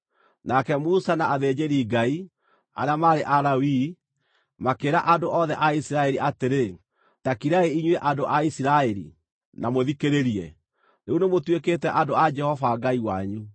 Nake Musa na athĩnjĩri-Ngai, arĩa maarĩ Alawii, makĩĩra andũ othe a Isiraeli atĩrĩ, “Ta kirai, inyuĩ andũ a Isiraeli, na mũthikĩrĩrie! Rĩu nĩmũtuĩkĩte andũ a Jehova Ngai wanyu.